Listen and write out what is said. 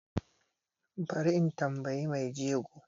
Bari in tambiyi mai jego